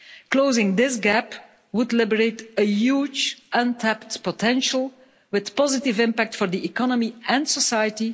Closing this gap would liberate a huge untapped potential with a positive impact for the economy and society.